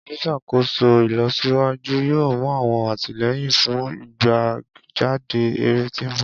Oluṣakoso ilosiwaju yoo mu awọn atilẹyin fun igbejade ere ti nbọ.